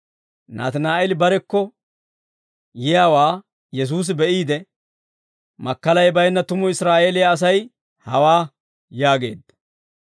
Naatinaa'eeli barekko yiyaawaa Yesuusi be'iide, «Makkalay baynna tumu Israa'eeliyaa Asay hawaa!» yaageedda.